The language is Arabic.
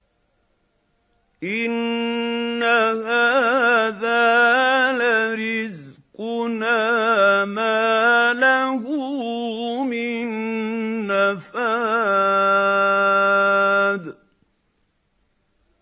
إِنَّ هَٰذَا لَرِزْقُنَا مَا لَهُ مِن نَّفَادٍ